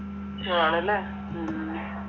ആണല്ലെ